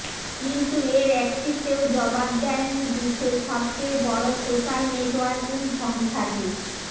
কিন্তু এর একটিতেও জবাব দেয়নি বিশ্বের সবচেয়ে বড় সোস্যাল নেটওয়ার্কি সংস্থাটি